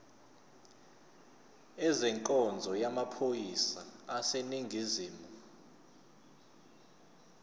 ezenkonzo yamaphoyisa aseningizimu